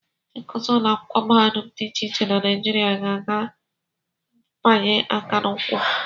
Ndị nkụzi ụlọakwụkwọ mahadum dị iche iche na Naijiria ga-aga mfanye aka n'ụkwụ